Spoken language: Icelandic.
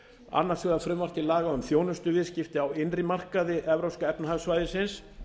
annars vegar frumvarp til laga um þjónustuviðskipti á innri markaði evrópska efnahagssvæðisins